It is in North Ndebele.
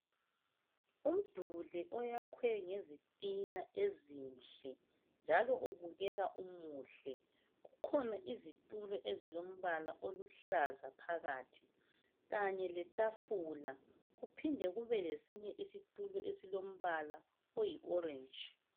Umduli oyakhwe ngezitina ezinhle, njalo ubukeka umuhle kukhona izitulo ezilombala oluhlaza phakathi kanye letafula kuphinde kube lesinye isitulo esilombala oyi orentshi.